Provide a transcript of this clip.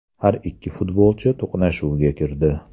Har ikki futbolchi to‘qnashuvga kirdi.